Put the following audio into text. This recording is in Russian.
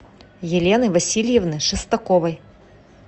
елены васильевны шестаковой